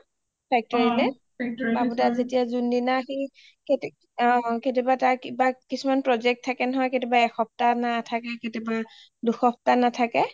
factory লে বাবু দা যোন দিনা সি , কেতিয়া বা তাৰ কিছুমান project থাকে নহয় , কেতিয়া বা এক সপ্তাহ নাথাকে, কেতিয়া বা দুই সপ্তাহ নাথাকে